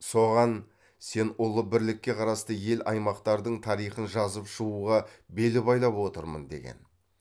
соған сен ұлы бірлікке қарасты ел аймақтардың тарихын жазып шығуға бел байлап отырмын деген